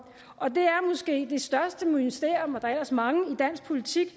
det det største mysterium og der er ellers mange i dansk politik